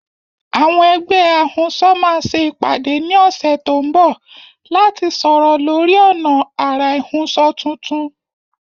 Àwọn ẹgbẹ́ ahunṣọ máa ṣe ìpàdé ní ọ̀sẹ̀ tó ń bọ̀ láti sọ̀rọ̀ lórí ọ̀nà àrà ìhunṣọ tuntun.